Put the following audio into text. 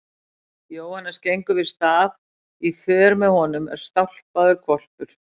Jóhannes gengur við staf og í för með honum er stálpaður hvolpur.